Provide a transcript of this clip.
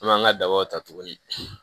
An b'an ka dabaw ta tuguni